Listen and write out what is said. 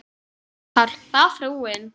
PÁLL: Það var frúin.